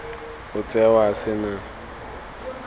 o tsewa a se na